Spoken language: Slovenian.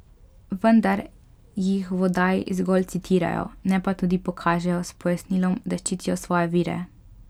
Vendar jih v oddaji zgolj citirajo, ne pa tudi pokažejo, s pojasnilom, da ščitijo svoje vire.